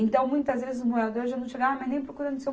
Então, muitas vezes os moradores já não chegavam nem procurando o Seu